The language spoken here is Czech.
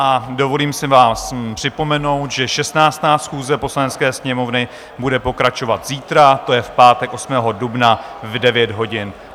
A dovolím si vám připomenout, že 16. schůze Poslanecké sněmovny bude pokračovat zítra, to je v pátek 8. dubna v 9 hodin.